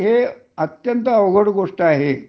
हे अत्यंत अवघड गोष्ट आहे